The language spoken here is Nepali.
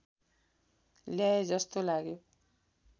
ल्याए जस्तो लाग्यो